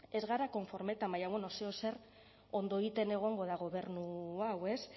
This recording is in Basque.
ez gara konforme baina bueno zeozer ondo egiten egongo da gobernu hau ez